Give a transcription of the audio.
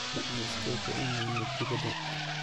Waxan iskuku iimane dipada.